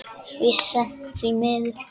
Víst seint, því miður.